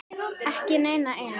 Ekki neina eina.